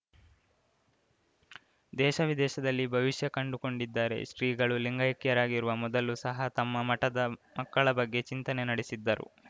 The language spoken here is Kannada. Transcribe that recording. ದೇಶವಿದೇಶದಲ್ಲಿ ಭವಿಷ್ಯ ಕಂಡುಕೊಂಡಿದ್ದಾರೆ ಶ್ರೀಗಳು ಲಿಂಗೈಕ್ಯರಾಗಿರುವ ಮೊದಲು ಸಹ ತಮ್ಮ ಮಠದ ಮಕ್ಕಳ ಬಗ್ಗೆ ಚಿಂತನೆ ನಡೆಸಿದ್ದರು